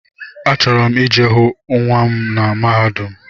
Achọrọ m I je hụ nnwa m na mahadum.